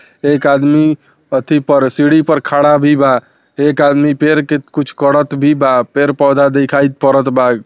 एक आदमी अथी पर सीढ़ी पर खड़ा भी बा एक आदमी पेड़ के कुछ करत भी बा पेड़-पौधा दिखाई पड़त बा।